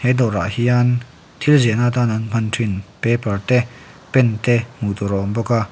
he dawrah hian thil ziahna tana an hman thin paper te pen te hmuh tur a awm bawk a--